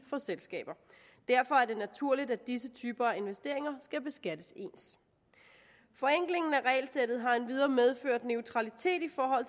for selskaber derfor er det naturligt at disse typer af investeringer skal beskattes ens forenklingen af regelsættet har endvidere medført neutralitet i forhold